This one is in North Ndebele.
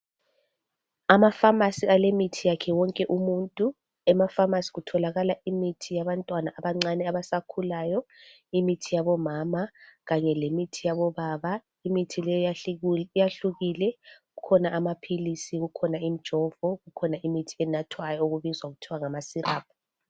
Amafamasi alemithi yakhe wonke umuntu, emaFamasi kutholakala imithi yabantwana abancane abasakhulayo imithi yabo mama kanye lemithi yabobaba. Imithi le yahlukile kukhona lamaphilisi kukhona imijovo kukhona eyokunatha ebizwa kuthiwa ngama siraphu.